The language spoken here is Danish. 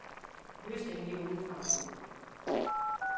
Løsningen ligger ude i fremtiden.